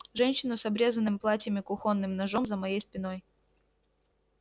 женщина с обрезанным платьем и кухонным ножом за моей спиной